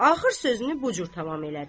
Axır sözünü bu cür tamam elədi.